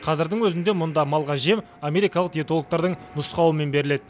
қазірдің өзінде мұнда малға жем америкалық диетологтардың нұсқауымен беріледі